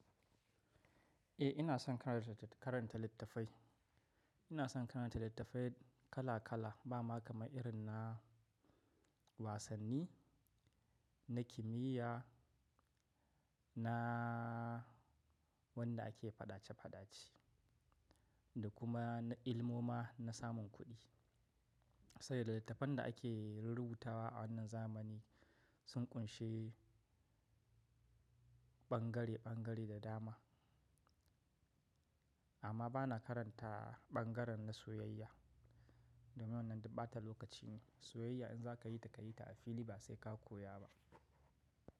Eh ina son karanta littafai. Ina son karanta littafai kala kala, ba ma kama irin na wasanni, na kimiyya, na wanda ake fadace fadace da kuma na ilmo ma na samun kuɗi. Saboda littafan da ake rurrubutawa a wannan zamani sun ƙunshi ɓangare ɓangare da dama. Amma ba na karanta ɓangaren na soyayya domin wannan ta ɓata lokaci ne. Soyayya in za ka yi ta, ka yi ta a fili ba sai ka koya ba.